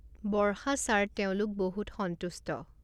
বৰ্ষা sir তেওঁলোক বহুত সন্তষ্ট।